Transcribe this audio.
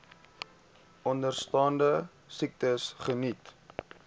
onderstaande siektes geniet